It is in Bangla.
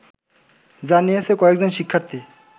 জানিয়েছে কয়েকজন শিক্ষার্থী